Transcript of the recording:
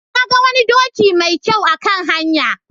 Na ga wani doki mai kyau a kan hanya.